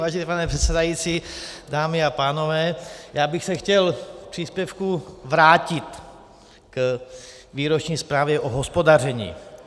Vážený pane předsedající, dámy a pánové, já bych se chtěl v příspěvku vrátit k výroční zprávě o hospodaření.